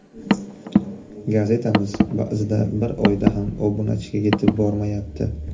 Gazetamiz ba’zida bir oyda ham obunachiga yetib bormayapti.